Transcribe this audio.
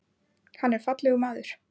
Hann er fallegur maður.